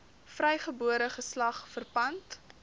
vrygebore geslag verpand